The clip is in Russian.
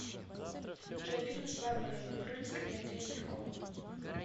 джой фильм с барбарой брыльской и андреем мягковым